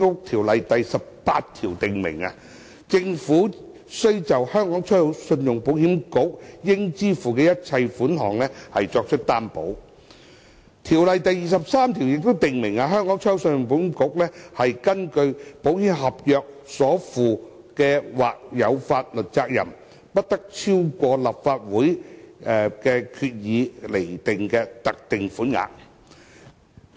《條例》第18條訂明，政府須就信保局應支付的一切款項作出擔保。《條例》第23條亦訂明，信保局根據保險合約所負的或有法律責任，不得超過立法會藉決議而釐定的特定款額。